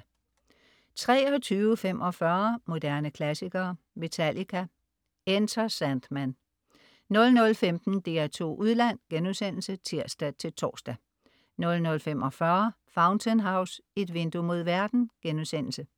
23.45 Moderne klassikere. Metallica: Enter Sandman 00.15 DR2 Udland* (tirs-tors) 00.45 Fountain House: Et vindue mod verden*